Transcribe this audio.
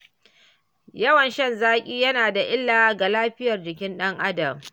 Yawan shan zaƙi yana da illa ga lafiyar jikin ɗan Adam.